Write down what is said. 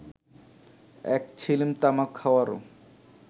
এক ছিলিম তামাক খাওয়ারও